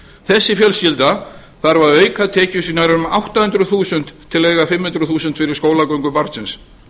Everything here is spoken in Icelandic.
þessi fjölskylda þarf að auka tekjur sínar um átta hundruð þúsund til að eiga fimm hundruð þúsund fyrir skólagöngu barnsins